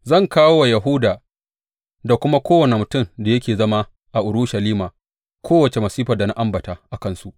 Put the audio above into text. Zan kawo wa Yahuda da kuma kowane mutumin da yake zama a Urushalima kowace masifar da na ambata a kansu.